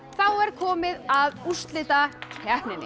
þá er komið að úrslitakeppninni